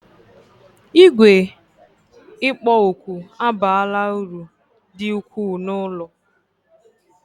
Igwe kpo oku abaala uru dị ukwuu n'ụlọ